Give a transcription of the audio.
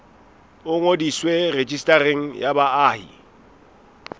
o ngodiswe rejistareng ya baahi